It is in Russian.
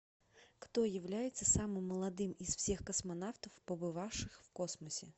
кто является самым молодым из всех космонавтов побывавших в космосе